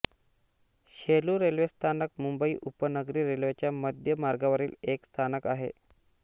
Shelu railway स्थानक मुंबई उपनगरी रेल्वेच्या मध्य मार्गावरील एक स्थानक आहे